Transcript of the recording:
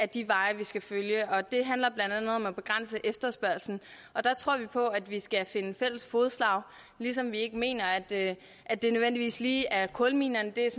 de veje man skal følge det handler blandt andet om at begrænse efterspørgslen der tror vi på at vi skal finde fælles fodslag ligesom vi ikke mener at det at det nødvendigvis lige er kulminerne det